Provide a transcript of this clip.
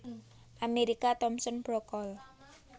Amerika Thomson Brook Cole